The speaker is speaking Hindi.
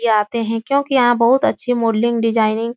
ये आते हैं क्योंकि यहाँ बहुत अच्छी मॉडलिंग डिजाइनिंग --